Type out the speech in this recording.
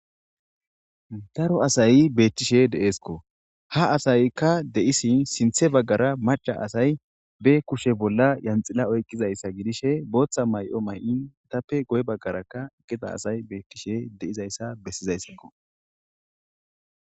Daro asayi beettishe de7eesikko ha asaykka de7isin sinthe baggara macha asay be kushe bolla yanxila oyqqizayssa gidishe booththa may7o may7in tappe goy baggarakka eqqida asay beettishe deizayssa bessizayssakko.